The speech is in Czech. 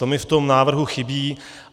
To mi v tom návrhu chybí.